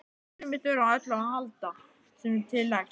Sumar þurfa á öllu að halda sem til leggst.